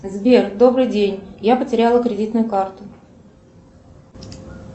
сбер добрый день я потеряла кредитную карту